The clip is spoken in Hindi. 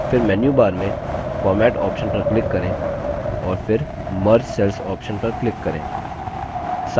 फिर menu bar में format option पर click करें और फिर merge cells option पर click करें